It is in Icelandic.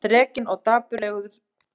Þrekinn og dapureygur.